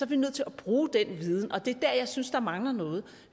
vi nødt til at bruge den viden og det er der jeg synes der mangler noget